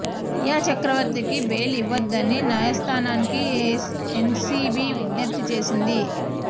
రియా చక్రవర్తి కి బెయిల్ ఇవ్వవద్దని న్యాయస్థానానికి ఎన్సీబీ విజ్ఞప్తి చేసింది